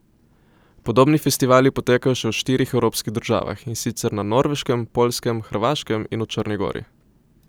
Podobni festivali potekajo še v štirih evropskih državah, in sicer na Norveškem, Poljskem, Hrvaškem in v Črni Gori.